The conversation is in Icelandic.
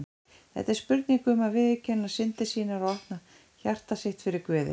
Þetta er spurning um að viðurkenna syndir sínar og opna hjarta sitt fyrir Guði.